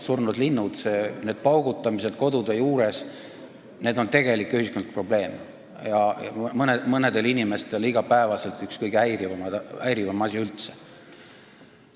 Surnud linnud, need paugutamised kodude juures on tegelik ühiskondlik probleem ja mõnel inimesel üks kõige häirivamaid igapäevaseid asju üldse.